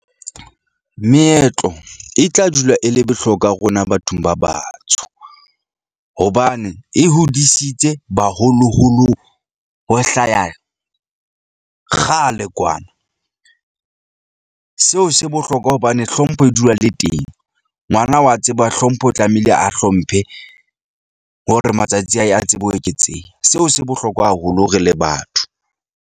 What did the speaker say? Meetlo e tla dula e le bohlokwa rona bathong ba batsho. Hobane e hodisitse baholoholo ho hlaya kgale kwana , seo se bohlokwa hobane hlompho e dula le teng. Ngwana wa tseba hlompho tlamehile a hlomphe hore matsatsi a hae a tsebe ho eketseha. Seo se bohlokwa haholo re le batho.